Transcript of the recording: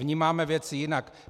Vnímáme věci jinak.